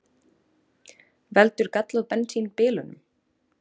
Veldur gallað bensín bilunum